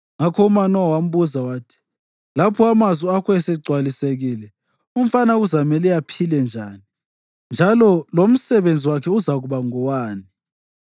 Ngakho uManowa wambuza wathi, “Lapho amazwi akho esegcwalisekile, umfana kuzamele aphile njani njalo lomsebenzi wakhe uzakuba ngowani?”